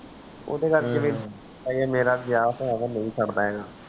ਉਹ ਤਾ ਯਾਰ ਹਜੇ ਮੇਰਾ ਵਿਆਹ ਹੋਇਆ ਵਾ ਨਹੀਂ ਸਰਦਾ ਹੇਗਾ